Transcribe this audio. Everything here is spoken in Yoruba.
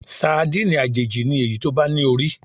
Sadíìnì àjèjì ni èyí tó bá ní orí.